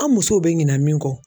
An musow bɛ ɲinan min kɔ